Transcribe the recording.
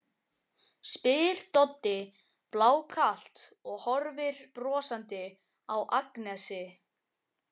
spyr Doddi blákalt og horfir brosandi á Agnesi.